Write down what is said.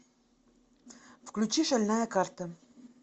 включи шальная карта